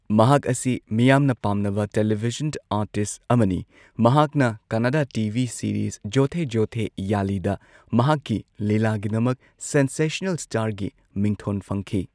ꯃꯍꯥꯛ ꯑꯁꯤ ꯄꯥꯝꯅꯕ ꯄꯥꯝꯅꯕꯥ ꯇꯦꯂꯤꯚꯤꯖꯟ ꯑꯥꯔꯇꯤꯁꯠ ꯑꯃꯅꯤ, ꯃꯍꯥꯛꯅ ꯀꯟꯅꯗ ꯇꯤ ꯚꯤ ꯁꯤꯔꯤꯁ ꯖꯣꯊꯦ ꯖꯣꯊꯦꯌꯂꯤ ꯗ ꯃꯍꯥꯛꯀꯤ ꯂꯤꯂꯥꯒꯤꯗꯃꯛ ꯁꯦꯟꯁꯦꯁꯅꯦꯜ ꯁ꯭ꯇꯥꯔ ꯒꯤ ꯃꯤꯡꯊꯣꯟ ꯐꯪꯈꯤ꯫